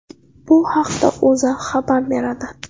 Bu haqda O‘zA xabar beradi .